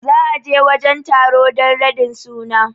za a je wajen taro dan radin din suna